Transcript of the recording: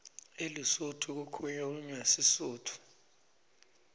elesotho kukhulunywa sisutfu